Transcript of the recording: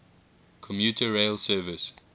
commuter rail service